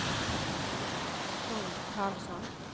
Trond Karlsson